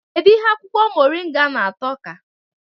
Kedụ ihe akwụkwọ moringa na-atọ ka?